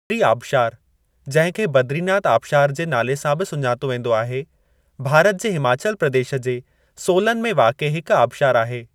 बद्री आबशारु, जंहिं खे बद्रीनाथ आबशारु जे नाले सां बि सुञातो वेंदो आहे, भारत जे हिमाचल प्रदेश जे सोलन में वाक़िए हिकु आबशारु आहे।